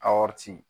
A